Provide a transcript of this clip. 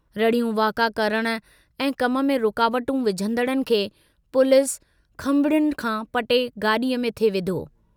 रड़ियूं वाका करण ऐं कम में रुकावटूं विझंदड़नि खे पुलिस खंबड़ियुनि खां पटे गाडीअ में थिए विधो।